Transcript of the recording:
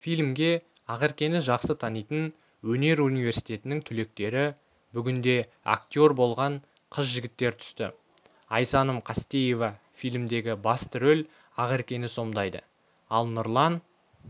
фильмге ақеркені жақсы танитын өнер университетінің түлектері бүгінде актер болған қыз-жігіттер түсті айсаным қастеева фильмдегі басты рөл ақеркені сомдайды ал нұрлан